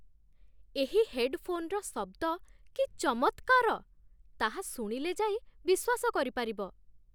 ଏହି ହେଡ୍‌ଫୋନ୍‌ର ଶବ୍ଦ କି ଚମତ୍କାର, ତାହା ଶୁଣିଲେ ଯାଇ ବିଶ୍ୱାସ କରିପାରିବ!